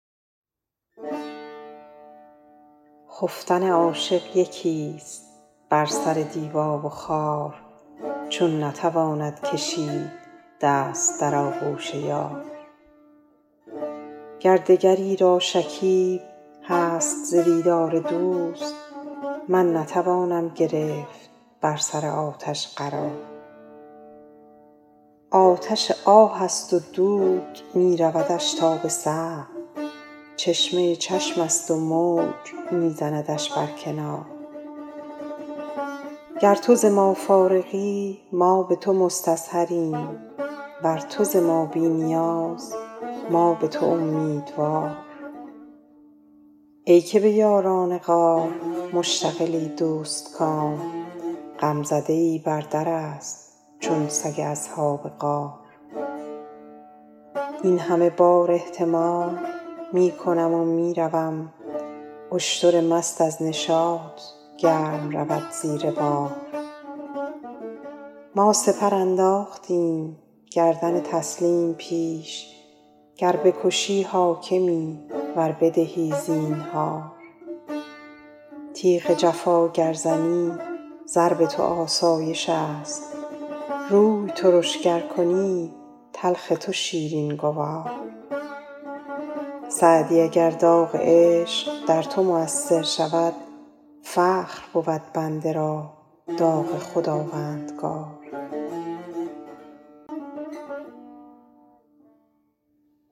خفتن عاشق یکیست بر سر دیبا و خار چون نتواند کشید دست در آغوش یار گر دگری را شکیب هست ز دیدار دوست من نتوانم گرفت بر سر آتش قرار آتش آه است و دود می رودش تا به سقف چشمه چشمست و موج می زندش بر کنار گر تو ز ما فارغی ما به تو مستظهریم ور تو ز ما بی نیاز ما به تو امیدوار ای که به یاران غار مشتغلی دوستکام غمزده ای بر درست چون سگ اصحاب غار این همه بار احتمال می کنم و می روم اشتر مست از نشاط گرم رود زیر بار ما سپر انداختیم گردن تسلیم پیش گر بکشی حاکمی ور بدهی زینهار تیغ جفا گر زنی ضرب تو آسایشست روی ترش گر کنی تلخ تو شیرین گوار سعدی اگر داغ عشق در تو مؤثر شود فخر بود بنده را داغ خداوندگار